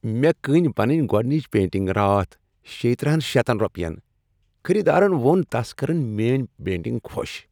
مےٚ کٕنۍ پنٕنۍ گۄڈنچ پینٹنگ راتھ شے ترٔہَن شٔتَن روپین خریدارن ووٚن تس کرٕن میٲنۍ پینٹِنگ خوش۔